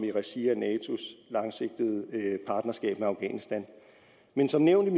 i regi af natos langsigtede partnerskab med afghanistan men som nævnt